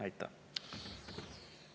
Aitäh!